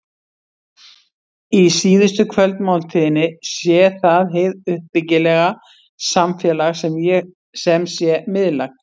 Í síðustu kvöldmáltíðinni sé það hið uppbyggilega samfélag sem sé miðlægt.